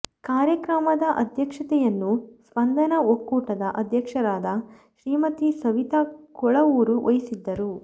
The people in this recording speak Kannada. ಕಾರ್ಯಕ್ರಮದ ಅಧ್ಯಕ್ಷತೆಯನ್ನು ಸ್ಪಂದನ ಒಕ್ಕೂಟದ ಅಧ್ಯಕ್ಷರಾದ ಶ್ರೀಮತಿ ಸವಿತ ಕೊಳವೂರು ವಹಿಸಿದ್ದರು